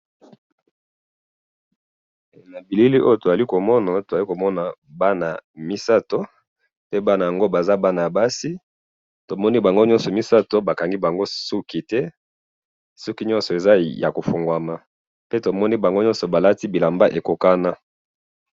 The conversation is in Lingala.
he na bilili oyo tozali komona tozali komona bana misatu pe bana yango bazali bana basi pe bazali na suki ya kokangna pe bana balati bilamba ya kokokana.